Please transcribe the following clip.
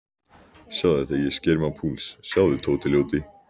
Sjáðu þegar ég sker mig á púls, sjáðu, Tóti ljóti.